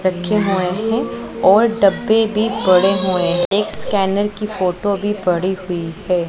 रखे हुए हैं और डब्बे भी पड़े हुए हैं एक स्कैनर की फोटो भी पड़ी हुई है।